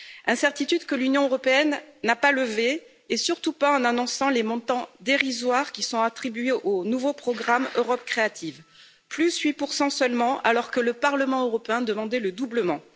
Incertitudes que l'Union européenne n'a pas levées, et surtout pas en annonçant les montants dérisoires qui sont attribués au nouveau programme Europe créative 8 seulement, alors que le Parlement européen demandait le doublement.